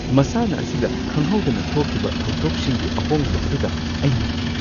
ꯃꯁꯥꯟꯅ ꯑꯁꯤꯗ ꯈꯪꯍꯧꯗꯅ ꯊꯣꯛꯈꯤꯕ ꯊꯧꯗꯣꯛꯁꯤꯡꯒꯤ ꯑꯍꯣꯡꯕ ꯑꯗꯨꯗ ꯑꯩ ꯉꯛꯈꯤ꯫